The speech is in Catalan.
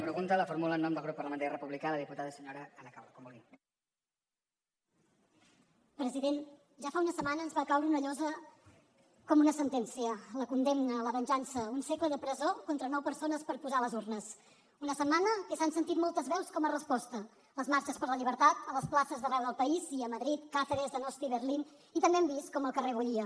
president ja fa una setmana ens va caure una llosa com un sentència la condemna la venjança un segle de presó contra nou persones per posar les urnes una setmana que s’han sentit moltes veus com a resposta les marxes per la llibertat a les places d’arreu del país i a madrid càceres donosti berlín i també hem vist com el carrer bullia